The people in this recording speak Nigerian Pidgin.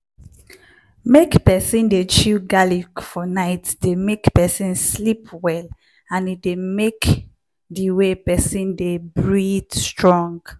make peson dey chew garlic for night dey make person sleep well well and e dey make di way person dey breath strong.